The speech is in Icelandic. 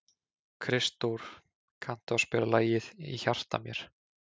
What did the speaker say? Kristdór, kanntu að spila lagið „Í hjarta mér“?